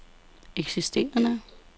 eksisterende